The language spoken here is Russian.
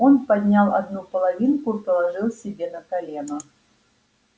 он поднял одну половинку и положил себе на колено